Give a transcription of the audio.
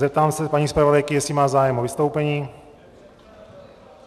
Zeptám se paní zpravodajky, jestli má zájem o vystoupení.